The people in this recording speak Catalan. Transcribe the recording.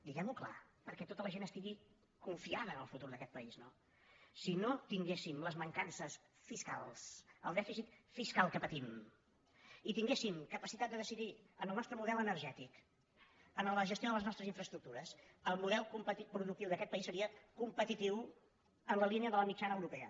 diguem·ho clar perquè tota la gent estigui confiada en el futur d’aquest país no si no tinguéssim les mancances fiscals el dè·ficit fiscal que patim i tinguéssim capacitat de decidir en el nostre model energètic en la gestió de les nos·tres infraestructures el model productiu d’aquest país seria competitiu en la línea de la mitjana europea